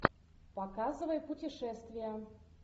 показывай путешествия